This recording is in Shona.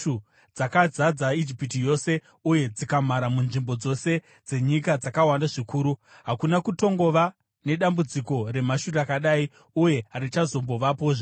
dzakazadza Ijipiti yose uye dzikamhara munzvimbo dzose dzenyika dzakawanda zvikuru. Hakuna kutongova nedambudziko remhashu rakadai, uye harichazombovapozve.